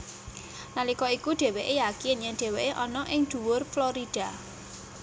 Nalika iku dhéwékè yakin yèn dhéwékè ana ing dhuwur Florida